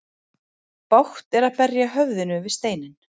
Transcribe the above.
Bágt er að berja höfðinu við steinninn.